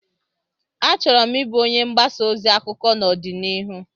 Achọrọ m ịbụ onye mgbasa ozi akụkọ n'ọdịnihu